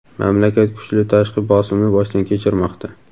mamlakat kuchli tashqi bosimni boshdan kechirmoqda.